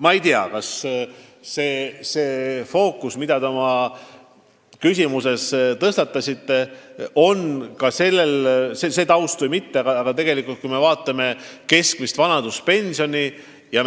Ma ei tea, kas te oma küsimust esitades pidasite silmas ka seda tausta või mitte, aga kui me vaatame keskmist vanaduspensioni ja